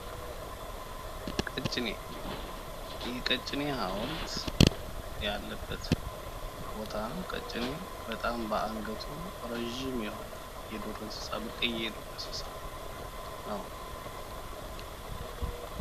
ምስሉ የቀጭኔ ሃውልት አለበት ቦታ ሲሆን ቀጭኔ በጣም ረጅም አንገት ያለው ብርቅየ የዱር እንስሳት ነው ።